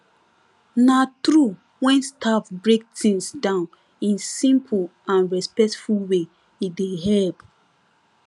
na truewhen staff break things down in simple and respectful way e dey help